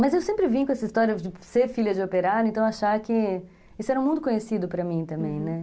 Mas eu sempre vim com essa história de ser filha de operário, então achar que... Isso era um mundo conhecido para mim também, né?